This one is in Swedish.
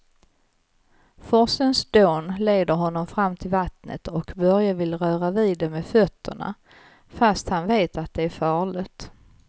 Forsens dån leder honom fram till vattnet och Börje vill röra vid det med fötterna, fast han vet att det är farligt.